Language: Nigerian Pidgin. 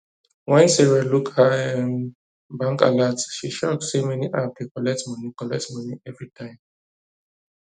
when sarah look her um bank alert she shock say many app dey collect money collect money every time